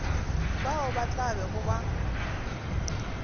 bao ba tla bego ba